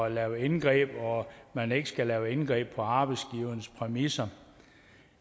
at lave indgreb og at man ikke skal lave indgreb på arbejdsgivernes præmisser